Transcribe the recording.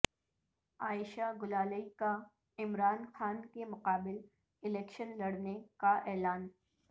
عائشہ گلالئی کا عمران خان کے مقابل الیکشن لڑنے کا اعلان